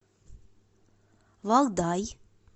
валдай